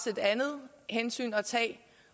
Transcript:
et andet hensyn at tage